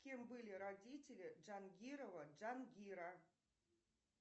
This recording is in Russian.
кем были родители джангирова джангира